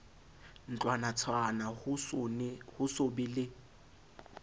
ntlwanatshwana ho so be le